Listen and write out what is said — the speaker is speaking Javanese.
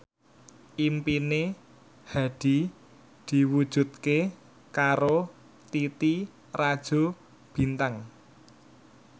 impine Hadi diwujudke karo Titi Rajo Bintang